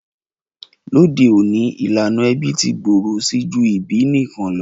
Lóde ọ̀ní, ìlànà ẹbí ti gbòrò si ju ìbí nikan lo.